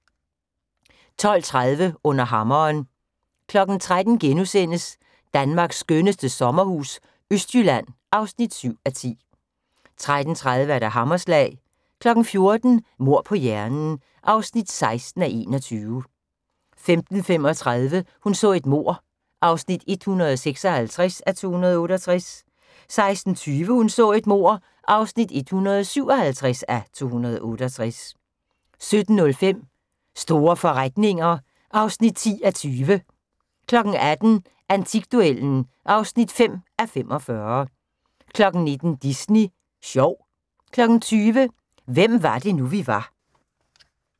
12:30: Under hammeren 13:00: Danmarks skønneste sommerhus - østjylland (7:10)* 13:30: Hammerslag 14:00: Mord på hjernen (16:21) 15:35: Hun så et mord (156:268) 16:20: Hun så et mord (157:268) 17:05: Store forretninger (10:20) 18:00: Antikduellen (5:45) 19:00: Disney sjov 20:00: Hvem var det nu, vi var